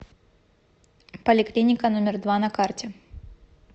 поликлиника номер два на карте